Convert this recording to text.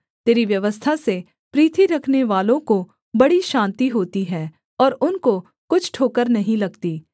तेरी व्यवस्था से प्रीति रखनेवालों को बड़ी शान्ति होती है और उनको कुछ ठोकर नहीं लगती